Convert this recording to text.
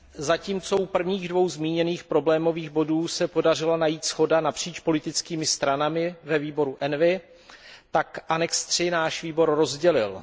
Zatímco u prvních dvou zmíněných problémových bodů se podařila najít shoda napříč politickými stranami ve výboru ENVI, tak příloha III náš výbor rozdělila.